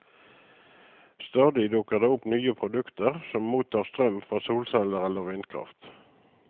Stadig dukker det opp nye produkter som mottar strøm fra solceller eller vindkraft.